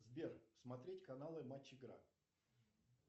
сбер смотреть каналы матч игра